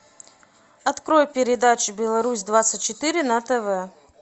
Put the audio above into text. открой передачу беларусь двадцать четыре на тв